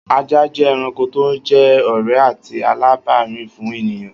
Ajá jẹ́ ẹranko tó jẹ́ ọ̀rẹ́ àti alábàárìn fún ènìyàn